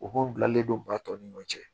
U b'o bilalen don ba tɔ ni ɲɔgɔn cɛ